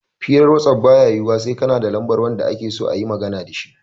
Hirar wasaf baya yiwuwa sai kana da lambar wanda akeso ayima magana dashi